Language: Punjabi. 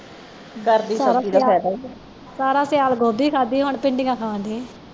ਘਰ ਦੀ ਸਬਜ਼ੀ ਦਾ ਫਾਇਦਾ ਹੈ ਸਾਰਾ ਸਿਆਲ ਗੋਭੀ ਖਾਂਦੀ ਹੁਣ ਭਿੰਡੀਆਂ ਖਾਣ ਦੇ ਆ